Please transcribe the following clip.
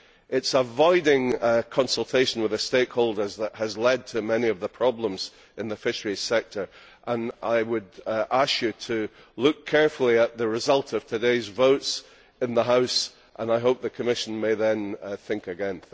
It is avoiding consultation with the stakeholders that has led to many of the problems in the fisheries sector. I would ask you to look carefully at the result of today's votes in the House, and I hope the Commission may then think again.